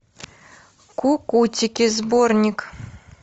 кукутики сборник